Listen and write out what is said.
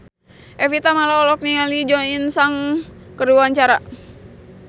Evie Tamala olohok ningali Jo In Sung keur diwawancara